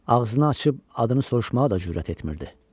Ağzını açıb adını soruşmağa da cürət etmirdi.